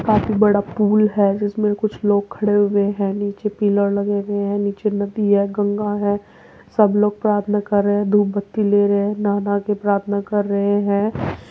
काफी बड़ा पुल है जिसमें कुछ लोग खड़े हुए हैं। नीचे पिलर लगे हैं नीचे नदी है गंगा है सब लोग प्रार्थना कर रहे हैं धुपबत्ती ले रहे हैं नहा-नहा के प्राथना कर रहे हैं।